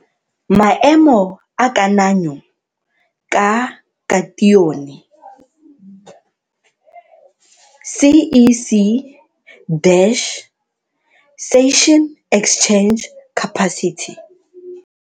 Maemo a kananyo ka katione CEC, Cation exchange capacity.